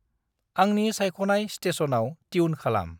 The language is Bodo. आंनि सायख'नाय स्टेसनाव ट्युन खालाम।